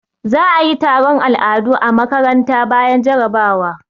Za a yi taron al'adu a makaranta bayan jarabawa.